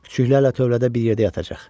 Küçüklərlə tövlədə bir yerdə yatacaq.